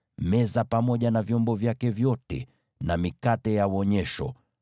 meza pamoja na vyombo vyake vyote na mikate ya Wonyesho;